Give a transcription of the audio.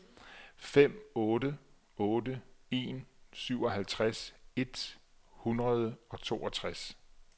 fem otte otte en syvoghalvtreds et hundrede og toogtres